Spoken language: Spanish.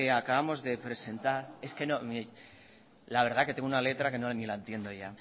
acabamos de presentar es que la verdad que tengo una letra que ni la entiendo ya